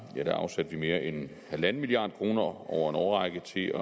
afsatte vi mere end en milliard kroner over en årrække til at